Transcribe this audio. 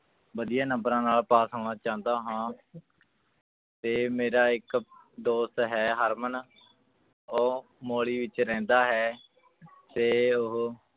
ਵਧੀਆ ਨੰਬਰਾਂ ਨਾਲ ਪਾਸ ਹੋਣਾ ਚਾਹੁੰਦਾ ਹਾਂ ਤੇ ਮੇਰਾ ਇੱਕ ਦੋਸਤ ਹੈ ਹਰਮਨ ਉਹ ਮੋਹਾਲੀ ਵਿੱਚ ਰਹਿੰਦਾ ਹੈ ਤੇ ਉਹ